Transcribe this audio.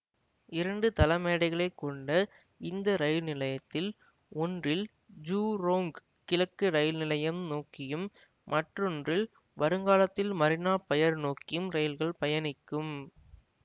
இரண்டு தளமேடைகளை கொண்ட இந்த ரயில் நிலையத்தில் ஒன்றில் ஜூரோங் கிழக்கு ரயில் நிலையம் நோக்கியும் மற்றொன்றில் வருங்காலத்தில் மரீனா பயர் நோக்கியும் ரயில்கள் பயணிக்கும்